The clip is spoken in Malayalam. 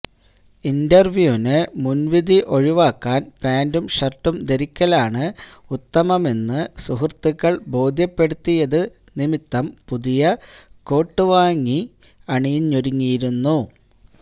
ഇന്റര്വ്യൂവിനു മുന്വിധി ഒഴിവാക്കാന് പാന്റും ഷര്ട്ടും ധരിക്കലാണ് ഉത്തമമെന്നു സുഹൃത്തുക്കള് ബോധ്യപ്പെടുത്തിയത് നിമിത്തം പുതിയ കൂട്ട് തന്നെ വാങ്ങി അണിഞ്ഞൊരുങ്ങിയിരുന്നു